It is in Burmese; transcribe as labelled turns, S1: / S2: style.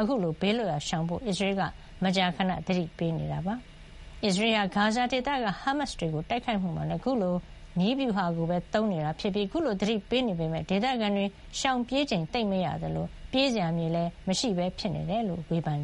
S1: အခုလို ဘေးလွတ်ရာ ရှောင်ဖို့ အစ္စရေးက မကြာခဏ သတိပေးနေတာပါ။ အစ္စရေးဟာ ဂါဇာဒေသက ဟားမတ်စ်တွေကို တိုက်ခိုက်မှုမှာလည်း အခုလို နည်းဗျူဟာကိုပဲ သုံးနေတာ ဖြစ်ပြီး အခုလို သတိပေးနေပေမယ့် ဒေသခံတွေ ရှောင်ပြေးချိန် သိပ်မရကြသလို ပြေးစရာ မြေလည်း မရှိပဲ ဖြစ်နေတယ်လို့ ဝေဖန်